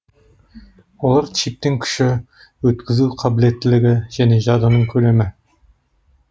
олар чиптің күші өткізу қабілеттілігі және жадының көлемі